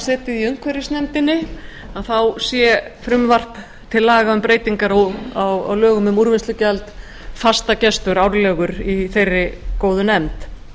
setið í umhverfisnefndinni sé frumvarp til laga um breytingar á lögum um úrvinnslugjald fastagestur árlegur í þeirri góðu nefnd